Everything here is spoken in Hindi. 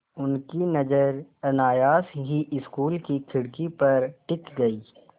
उनकी नज़र अनायास ही स्कूल की खिड़की पर टिक गई